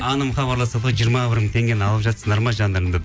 анам хабарласады ғой жиырма бір мың теңгені алып жатсыңдар ма жандарым деп